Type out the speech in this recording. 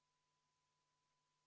Henn Põlluaas soovib vist midagi öelda.